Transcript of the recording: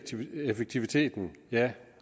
effektiviteten ja